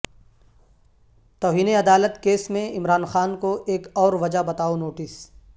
توہین عدالت کیس میں عمران خان کو ایک اور وجہ بتاو نوٹس